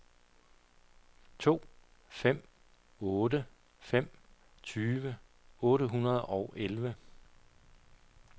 to fem otte fem tyve otte hundrede og elleve